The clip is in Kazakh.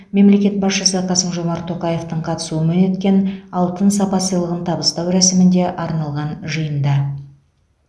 мемлекет басшысы қасым жомарт тоқаевтың қатысуымен өткен алтын сапа сыйлығын табыстау рәсіміне арналған жиында